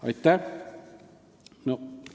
Aitäh!